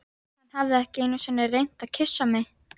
Hann hafði ekki einu sinni reynt að kyssa mig.